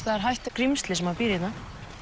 það er hættulegt skrímsli sem býr hérna